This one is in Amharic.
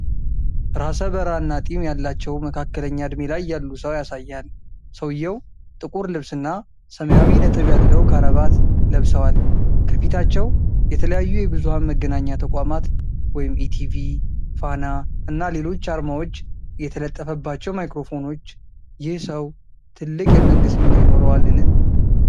ራሰ በራ እና ጢም ያላቸው መካከለኛ እድሜ ላይ ያሉ ሰው ያሳያል። ሰውየው ጥቁር ልብስ እና ሰማያዊ ነጥብ ያለውክራባት ለብሰዋል። ከፊታቸው የተለያዩ የብዙኃን መገናኛ ተቋማት (ኢቲቪ፣ ፋና፣ እና ሌሎች) አርማዎች የተለጠፈባቸው ማይክሮፎኖች። ይህ ሰው ትልቅ የመንግስት ሚና ይኖረዋልን?